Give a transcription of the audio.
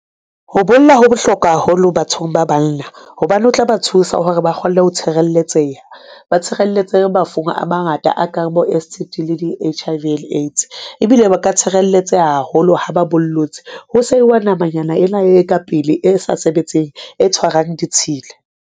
Ho bolla ho bohlokwa haholo bathong ba banna hobane o tla ba thusa hore ba kgone ho tshireletseha. Ba tshireletse mafung a mangata a kang bo-S_T_D le di-H_I_V and AIDS, ebile ba ka tshireletseha haholo ha ba bollotse ho sehwa nama-nyana ena e ka pele e sa sebetseng e tshwarang ditshila.